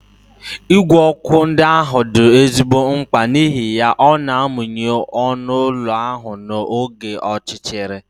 Igwe ọkụ ndị ahụ dị ezigbo mkpa n'ihi ya ọ na-amụnye ọnụ ụlọ ahụ n'oge ọchịchịrị.